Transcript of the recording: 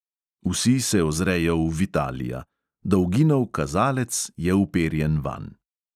Vsi se ozrejo v vitalija – dolginov kazalec je uperjen vanj.